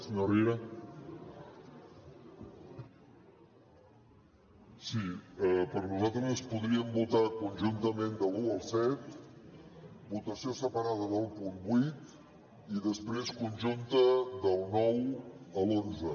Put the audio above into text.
sí per nosaltres podríem votar conjuntament de l’un al set votació separada del punt vuit i després conjunta del nou a l’onze